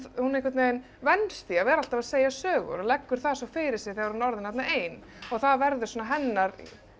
hún einhvern veginn venst því að vera alltaf að segja sögur og leggur það svo fyrir sig þegar hún er orðin þarna ein það verður svona hennar